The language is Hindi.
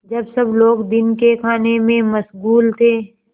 जब सब लोग दिन के खाने में मशगूल थे